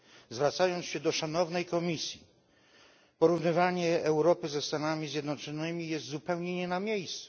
Zwracając się do Szanownej Komisji porównywanie Europy ze Stanami Zjednoczonymi jest zupełnie nie na miejscu.